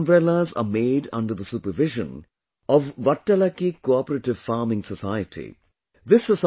These umbrellas are made under the supervision of ‘Vattalakki Cooperative Farming Society’